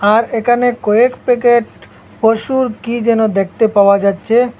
আর একানে কয়েক প্যাকেট পশুর কী যেন দেখতে পাওয়া যাচ্ছে।